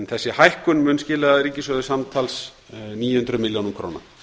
þessi hækkun mun skila ríkissjóði samanlagt níu hundruð milljóna króna